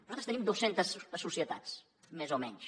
nosaltres tenim dos centes societats més o menys